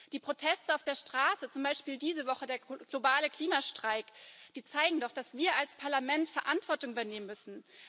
Die Proteste auf der Straße, zum Beispiel der globale Klimastreik diese Woche, zeigen doch, dass wir als Parlament Verantwortung übernehmen müssen.